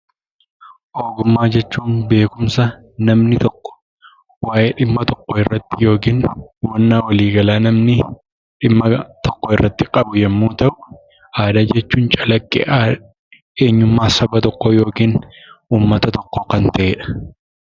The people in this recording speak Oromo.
Ogummaa jechuun beekumsa namni tokko waa'ee dhimma tokkoorratti yookin hubannaa waliigalaa namni dhimma tokkorratti qabu yemmuu ta'u haala jechuun calaqqee eenyummaa saba tokkoo yookin uummata tokkoo kan ta'edha.